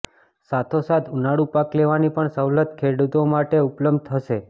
સાથોસાથ ઉનાળુ પાક લેવાની પણ સવલત ખેડૂતો માટે ઉપલબ્ધ થશે